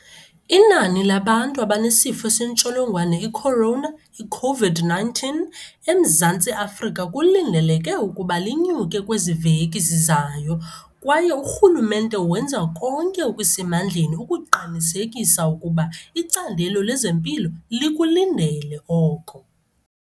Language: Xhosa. Inani labantu abanesifo sentsholongwane i-corona, i-COVID-19, eMzantsi Afrika kulindeleke ukuba linyuke kwezi veki zizayo kwaye urhulumente wenza konke okusemandleni ukuqinisekisa ukuba icandelo lezempilo likulindele oko.